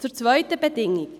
Zur zweiten Bedingung: